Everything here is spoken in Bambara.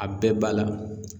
A bɛɛ b'a la.